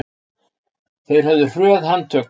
Þeir höfðu hröð handtök.